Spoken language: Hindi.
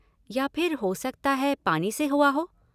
या फिर हो सकता है पानी से हुआ हो?